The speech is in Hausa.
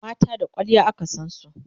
mata da kwalliya aka San su